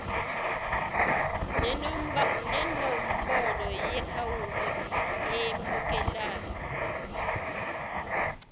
nenombolo yeakhawunti emukelayo